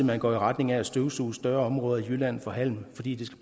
man går i retning af at støvsuge større områder i jylland for halm fordi det